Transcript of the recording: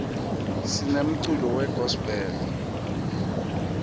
sinemculo we gospel